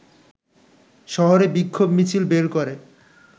শহরে বিক্ষোভ মিছিল বের করে